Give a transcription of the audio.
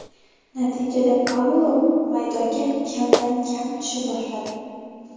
Natijada Paulo maydonga kamdan kam tusha boshladi.